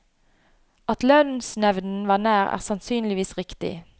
At lønnsnevnden var nær, er sannsynligvis riktig.